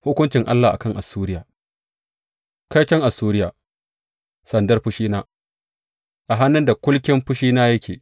Hukuncin Allah a kan Assuriya Kaiton Assuriya, sandar fushina, a hannun da kulkin fushina yake!